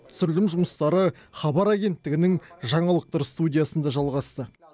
түсірілім жұмыстары хабар агенттігінің жаңалықтар студиясында жалғасты